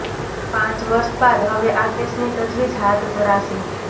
પાંચ વર્ષ બાદ હવે આ કેસની તજવીજ હાથ ધરાશે